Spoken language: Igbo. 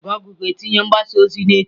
gụgle ga-etinye mgbasa ozi ya echi.